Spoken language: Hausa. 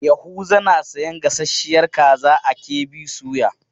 Yahuza na sayan gasasshiyar kaza a KB soya.